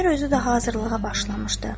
Əmir özü də hazırlığa başlamışdı.